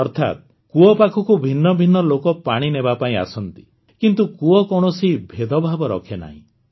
ଅର୍ଥାତ୍ କୂଅ ପାଖକୁ ଭିନ୍ନ ଭିନ୍ନ ଲୋକ ପାଣି ନେବାପାଇଁ ଆସନ୍ତି କିନ୍ତୁ କୂଅ କୌଣସି ଭେଦଭାବ ରଖେନାହିଁ